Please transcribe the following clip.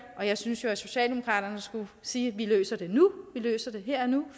og jeg synes jo at socialdemokratiet skulle sige vi løser det nu vi løser det her og nu